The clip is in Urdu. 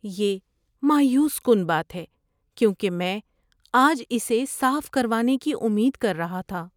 یہ مایوس کن بات ہے کیونکہ میں آج اسے صاف کروانے کی امید کر رہا تھا۔